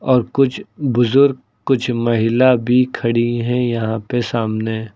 और कुछ बुजुर्ग कुछ महिला भी खड़ी हैं यहाँ पे सामने।